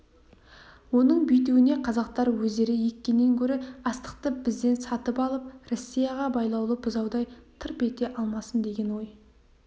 оның бүйтуіне қазақтар өздері еккеннен гөрі астықты бізден сатып алып россияға байлаулы бұзаудай тырп ете алмасын деген ой